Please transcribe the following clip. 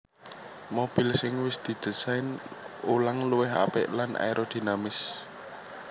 Mobil sing wis didésain ulang luwih apik lan aerodinamis